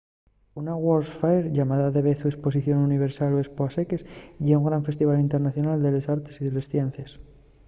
una world's fair llamada davezu esposición universal o espo a seques ye un gran festival internacional de les artes y les ciencies